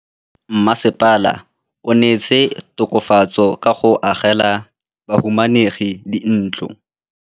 Mmasepala o neetse tokafatsô ka go agela bahumanegi dintlo.